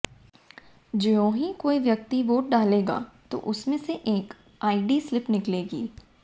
ज्योंहि कोई व्यक्ति वोट डालेगा तो उसमें से एक आईडी स्लिप निकलेगी